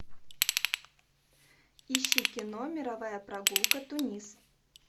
ищи кино мировая прогулка тунис